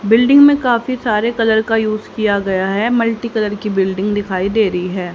Building में काफी सारे कलर का यूज़ किया गया है मल्टी कलर की बिल्डिंग दिखाई दे रही है।